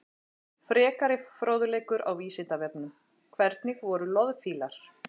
Frekari fróðleikur á Vísindavefnum: Hvernig voru loðfílar?